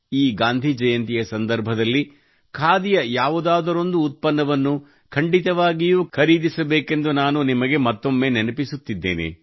ಈ ಗಾಂಧಿ ಜಯಂತಿಯ ಸಂದರ್ಭದಲ್ಲಿ ಖಾದಿಯ ಯಾವುದಾದರೊಂದು ಉತ್ಪನ್ನವನ್ನು ಖಂಡಿತವಾಗಿಯೂ ಖರೀದಿಸಬೇಕೆಂದು ನಾನು ನಿಮಗೆ ಮತ್ತೊಮ್ಮೆ ನೆನಪಿಸುತ್ತಿದ್ದೇನೆ